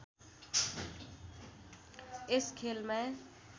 यस खेलमा